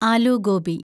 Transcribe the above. aloo gobi